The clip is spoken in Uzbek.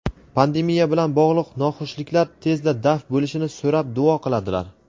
pandemiya bilan bog‘liq noxushliklar tezda daf bo‘lishini so‘rab duo qiladilar.